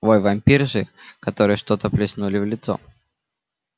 вой вампирши которой что-то плеснули в лицо